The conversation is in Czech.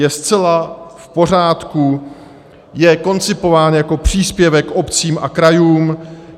Je zcela v pořádku, je koncipován jako příspěvek obcím a krajům.